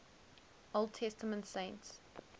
old testament saints